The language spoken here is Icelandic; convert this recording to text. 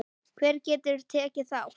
Hver getur tekið þátt?